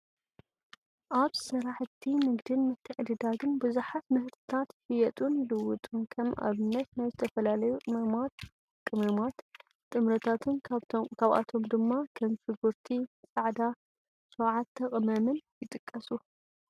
ኣብ ስራሕቲ ንግድን ምትዕድዳግን ብዙሓት ምህርትታት ይሽየጡን ይልወጡን፡፡ ከም ኣብነት ናይ ዝተፈላለዩ ቅመማ ቅመማት ፣ጥረምረታትን ካብኣቶም ድማ ከም ሽጉርቲ ፃዕዳ፣7+ ቀመምን ይጥቀሱ፡፡